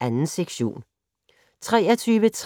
2. sektion